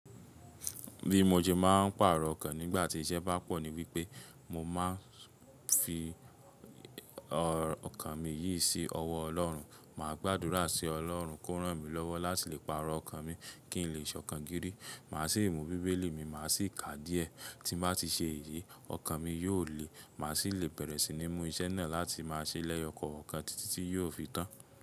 Bi mo se máa ń pàrọ̀ ọkàn nígbà tí iṣẹ́ bá pọ̀ ní wípé mo máa ń fi ọkàn mi yìí sí ọwọ́ Ọlọ́run. Máa gbàdúrà sí Ọlọ́run kó rán mi lọ́wọ́ láti lè pàrọ̀ ọkàn mi kí n lè ṣọ̀kan gírí. Máa sì mú bíbélì mi, màá sì ká díẹ̀. Tí n bá ti ṣe èyí, ọkàn mi yóò le, màá sì le bẹ̀rẹ̀ sí ní mú iṣẹ́ náà láti máa ṣe lẹ́yọ ko ọkàn títí tí yóò fi tán.